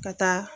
Ka taa